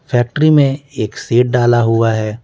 Factory में एक shed डाला हुआ है।